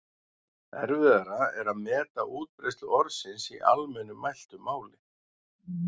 Erfiðara er að meta útbreiðslu orðsins í almennu mæltu máli.